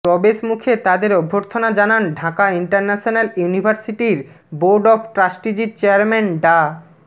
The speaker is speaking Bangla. ্ প্রবেশ মুখ তাদের অভ্যর্থনা জানান ঢাকা ইন্টারন্যাশনাল ইউনিভার্সিটির বোর্ড অব ট্রাস্টিজের চেয়ারম্যান ডা